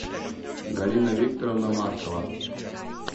галина викторовна маркова